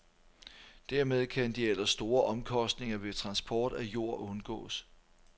Dermed kan de ellers store omkostninger ved transport af jord undgås.